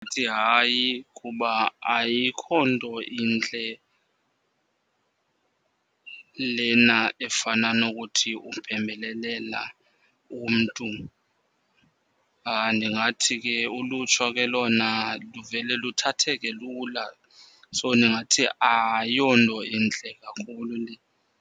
Ndithi hayi, kuba ayikho nto intle lena efana nokuthi uphembelelela umntu. Ndingathi ke ulutsha ke lona livele luthatheke lula. So ndingathi ayonto intle kakhulu le.